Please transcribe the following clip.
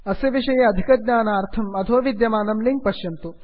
अस्य विषये अधिकज्ञानार्थं अधो विद्यमानं लिंक् पश्यन्तु